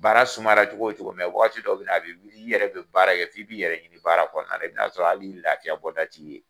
Baara sumayara cogo o cogo, mɛn waati dɔ bɛ na, i yɛrɛ bɛ baara kɛ f'i bɛ i yɛrɛ baara kɔnɔnala i bɛ k'a sɔrɔ ali lafiyabɔda t'i ye.